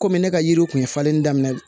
Kɔmi ne ka yiriw kun ye falenli daminɛ